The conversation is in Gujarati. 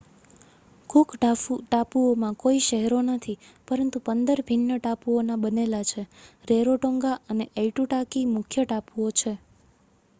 કૂક ટાપુઓમાં કોઈ શહેરો નથી પરંતુ 15 ભિન્ન ટાપુઓના બનેલા છે રેરોટોંગા અને એઇટુટાકી મુખ્ય ટાપુઓ છે